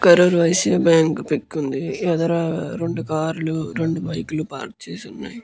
Karur Vysya bank pic ఉంది. ఎదురుగా రెండు కార్ లు రెండు బైక్లు ఉనాయి.